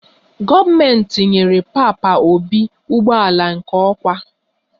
Gọọmentị nyere papa obi ụgbọala nke okwa